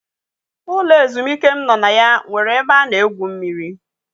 Ụlọ ezumike m nọ na ya nwere ebe a na-egwu mmiri.